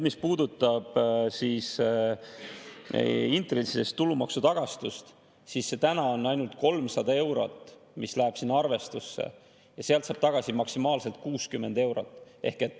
Mis puudutab intressidelt tulumaksu tagastust, siis praegu ainult 300 eurot läheb sinna arvestusse, ja sealt saab tagasi maksimaalselt 60 eurot.